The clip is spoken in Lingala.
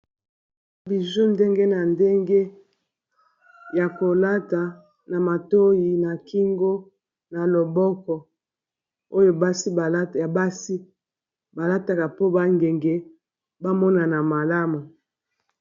biju ndenge na ndenge ya kolata na matoi na kingo na loboko oyo ya basi balataka po bangenge bamonana malamu